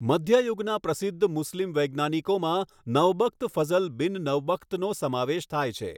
મધ્યયુગના પ્રસિધ્ધ મુસ્લિમ વૈજ્ઞાનિકોમાં નવબખ્ત ફઝલ બિન નવબખ્તનો સમાવેશ થાય છે.